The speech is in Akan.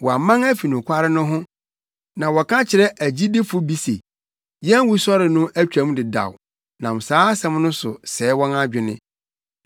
Wɔaman afi nokware no ho na wɔka kyerɛ agyidifo bi se, yɛn wusɔre no atwam dedaw nam saa asɛm no so sɛe wɔn adwene.